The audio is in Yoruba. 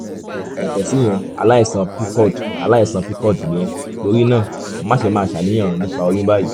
yàtọ̀ síyẹn aláìsàn pcod aláìsàn pcod ni ẹ́ torí náà máṣe máa ṣàníyàn nípa oyún báyìí